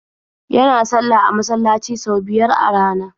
Yana sallah a masallaci sau biyar a rana.